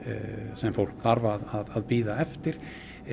sem fólk þarf að bíða eftir